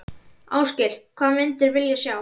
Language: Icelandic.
Ásgeir: Hvað myndir vilja sjá?